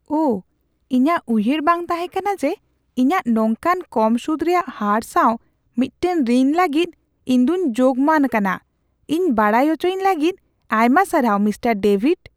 ᱩᱦ ! ᱤᱧᱟᱜ ᱩᱭᱦᱟᱹᱨ ᱵᱟᱝ ᱛᱟᱦᱮᱠᱟᱱᱟ ᱡᱮ ᱤᱧᱟᱜ ᱱᱚᱝᱠᱟᱱ ᱠᱚᱢ ᱥᱩᱫ ᱨᱮᱭᱟᱜ ᱦᱟᱨ ᱥᱟᱣ ᱢᱤᱫᱴᱟᱝ ᱨᱤᱱ ᱞᱟᱹᱜᱤᱫ ᱤᱧ ᱫᱚᱧ ᱡᱳᱜ ᱢᱟᱱ ᱠᱟᱱᱟ ᱾ ᱤᱧ ᱵᱟᱰᱟᱭ ᱚᱪᱚᱭᱤᱧ ᱞᱟᱹᱜᱤᱫ ᱟᱭᱢᱟ ᱥᱟᱨᱦᱟᱣ, ᱢᱤᱥᱴᱟᱨ ᱰᱮᱵᱷᱤᱰ ᱾